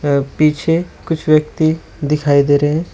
पीछे कुछ व्यक्ति दिखाई दे रहे हैं।